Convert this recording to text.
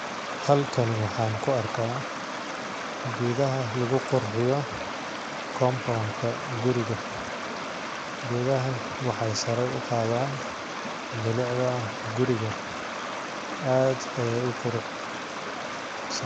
Halakani waxaan ku arkaa geedaha lagu qurxiyo compound ka guriga ,geedahan waxeey sare u qadaan bilicda guriga aad ayeey u qurux san ..